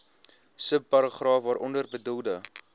subparagraaf waaronder bedoelde